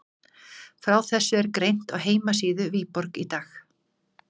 Frá þessu er greint á heimasíðu Viborg í dag.